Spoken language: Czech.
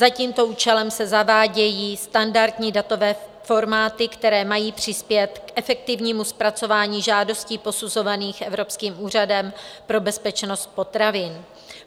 Za tímto účelem se zavádějí standardní datové formáty, které mají přispět k efektivnímu zpracování žádostí posuzovaných Evropským úřadem pro bezpečnost potravin.